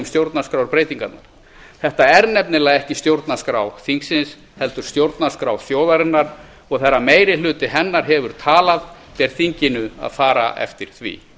stjórnarskrárbreytingarnar þetta er nefnilega ekki stjórnarskrá þingsins heldur stjórnarskrá þjóðarinnar og þegar meirhluti hennar hefur talað ber þinginu að fara eftir því